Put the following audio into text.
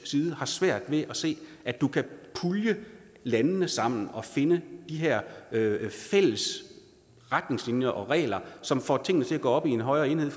side har svært ved at se at du kan pulje landene sammen og finde de her fælles retningslinjer og regler som får tingene til at gå op i en højere enhed